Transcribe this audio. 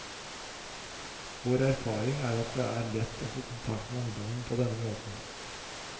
Vår erfaring er at det er lett å få kontakt med ungdommene på denne måten.